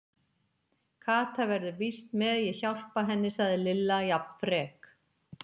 Kata verður víst með, ég hjálpa henni sagði Lilla jafn frek.